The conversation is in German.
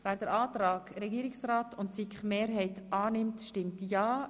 Wer den Antrag Regierungsrat und SiK annimmt, stimmt ja,